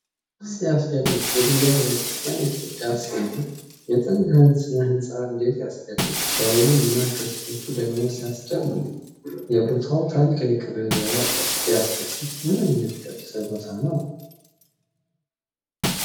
ሲያስደንቅ! የድንጋይ ቤተ ክርስቲያን ግድግዳ ሲያምር! የጥንት ሥነ ሕንፃ እንዴት ያስገርማል! ደወሉ እና ቅስቶች ደግሞ ሲያስደምሙ! የቦታው ታሪካዊ ክብር ያጓጓል። ሲያስደስት! ምንኛ የተቀደሰ ቦታ ነው!